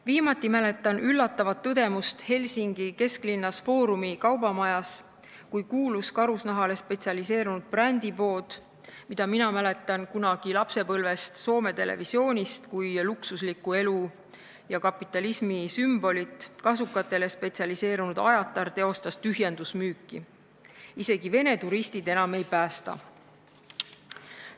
Viimati mäletan üllatavat tõdemust Helsingi kesklinnas Forumi kaubamajas, kui kuulsas karusnahale spetsialiseerunud brändipoes, mis minule jäi lapsepõlves Soome televisiooni vaadates meelde kui luksusliku elu ja kapitalismi sümbol, kasukatele spetsialiseerunud Ajataris oli tühjendusmüük – isegi Vene turistid enam ei päästa.